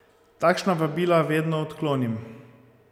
Takšna vabila vedno odklonim.